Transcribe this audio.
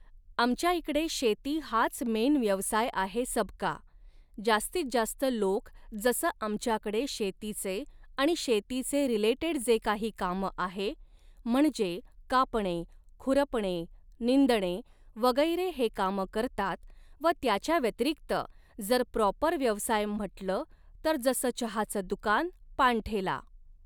आमच्या इकडे शेती हाच मेन व्यवसाय आहे सबका, जास्तीत जास्त लोक जसं आमच्याकडे शेतीचे आणि शेतीचे रिलेटेड जे काही कामं आहे, म्हणजे कापणे खुरपणे निंदणे वगैरे हे कामं करतात व त्याच्या व्यतिरिक्त जर प्रॉपर व्यवसाय म्हटलं तर जसं चहाचं दुकान, पानठेला